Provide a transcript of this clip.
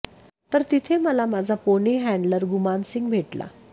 तर तिथे मला माझा पोनी हॅन्डलर गुमान सिंग भेटला